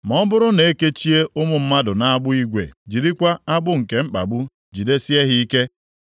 Ma ọ bụrụ na e kechie ụmụ mmadụ nʼagbụ igwe, jirikwa agbụ nke mkpagbu jidesie ha ike,